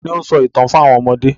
Ta ni ó ń sọ ìtàn fún àwọn ọmọdé?